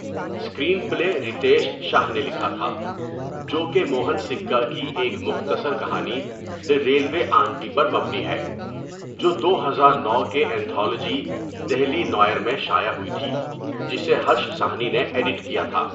Screen پلے رتیش شاہ نے لکھا تھا، جو کہ موہن سکّا کی ایک مختصر کہانی، دی ریلوے آنٹی پر مبنی ہے، جو دو ہزار نو کے انتھالوجی، دہلی نوئر میں شائع ہوئی تھی جسے ہرش ساہنی نے ایڈٹ کیا تھا.